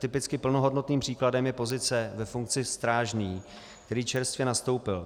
Typicky plnohodnotným příkladem je pozice ve funkci strážný, který čerstvě nastoupil.